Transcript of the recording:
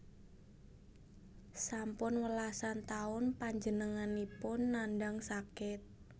Sampun welasan taun panjenenganipun nandhang sakit